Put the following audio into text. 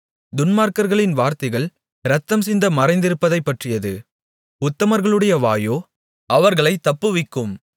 துன்மார்க்கர்களின் வார்த்தைகள் இரத்தம் சிந்த மறைந்திருப்பதைப்பற்றியது உத்தமர்களுடைய வாயோ அவர்களைத் தப்புவிக்கும்